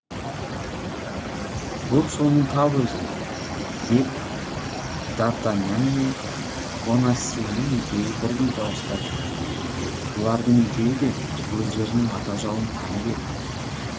бұл соның тап өзі деп дартаньян мен бонасьенің екеуі бірдей дауыстап жіберді бұлардың екеуі де өздерінің ата жауын танып еді